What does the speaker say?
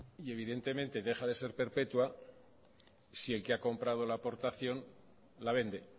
y evidentemente deja de ser perpetua si el que ha comprado la aportación la vende